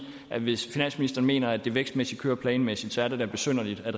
at hvis finansministeren mener at det vækstmæssigt kører planmæssigt så er det da besynderligt at